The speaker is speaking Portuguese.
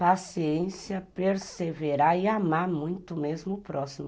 paciência, perseverar e amar muito mesmo o próximo.